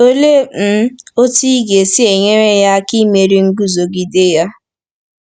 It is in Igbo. Olee um otú ị ga-esi nyere ya aka imeri nguzogide ya?